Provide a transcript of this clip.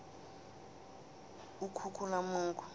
ukhukhulamungu